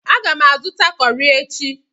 Aga m azụta kọrị echi.